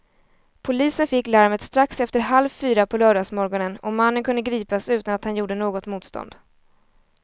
Polisen fick larmet strax efter halv fyra på lördagsmorgonen och mannen kunde gripas utan att han gjorde något motstånd.